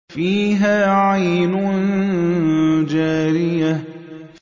فِيهَا عَيْنٌ جَارِيَةٌ